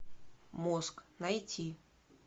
мозг найти